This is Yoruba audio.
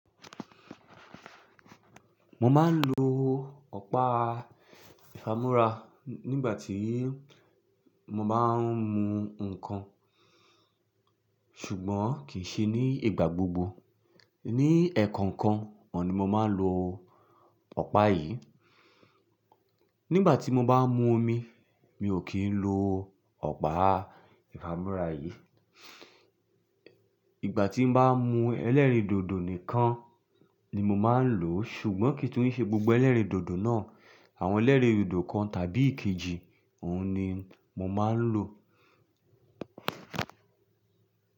Mo máa ń lo ọ̀pá ìfámú́ra nígbà tí mo bá ń mu ǹkan, ṣùgbọ́n kì í ṣe ní ìgbà gbogbo. Ní ẹ̀ẹ̀kan ǹkan oun ni mo máa ń lo ọ̀pá yìí. Nígbà tí mo bá ń mu omi, mi ò kí ń lo ọ̀pá ìfámú́ra yìí. Ìgbà tí mo bá ń mú ẹlẹ́rìndòdò nìkan ni mo máa ń lò ó, ṣùgbọ́n kì í tó ń ṣe gbogbo ẹlẹ́rìndòdò náà. Àwọn ẹlẹ́rìndòdò kan tàbí kejì, òun ni mo máa ń lò.